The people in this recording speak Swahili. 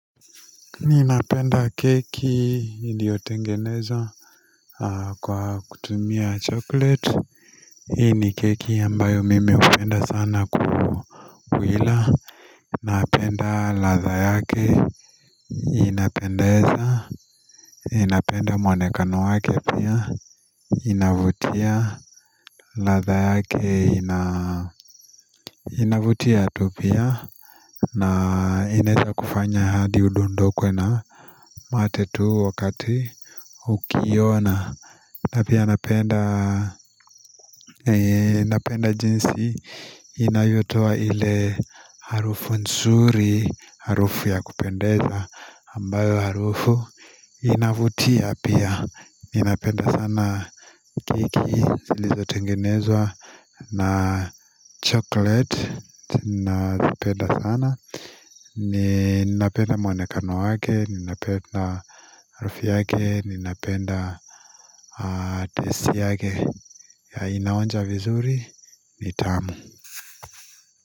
Ninapenda keki iliyotengenezwa Kwa kutumia chocolate hii ni keki ambayo mimi hupenda sana kuila Napenda latha yake inapendeza ninapenda mwonekano wake pia inavutia latha yake ina inavutia tu pia na ineza kufanya hadi udondokwe na mate tuu wakati ukiona na pia napenda jinsi inayotoa ile harufu nzuri Harufu ya kupendeza ambayo harufu inavutia pia ninapenda sana keki zilizo tengenezwa na chocolate ninapenda sana ninapenda mwonekano wake ninapenda harufu yake ninapenda taste yake ya inaonja vizuri ni tamu.